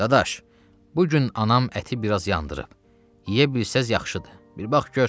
Dadaş, bu gün anam əti biraz yandırıb, yeyə bilsəz yaxşıdır, bir bax gör.